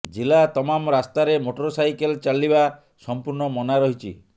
ଜିଲ୍ଲା ତମାମ ରାସ୍ତାରେ ମୋଟର ସାଇକେଲ ଚାଲିବା ସଂପୂର୍ଣ୍ଣ ମନା ରହିଛି